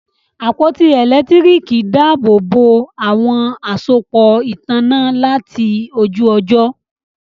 àpótí elekitiriki dàbobo àwọn àsopọ ìtanná láti ojú ojo.